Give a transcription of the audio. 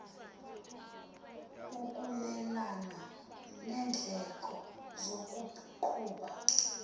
ukumelana neendleko zokuqhuba